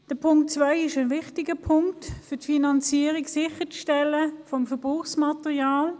Zum Punkt 2: Er ist wichtig, um die Finanzierung des Verbrauchsmaterials sicherzustellen.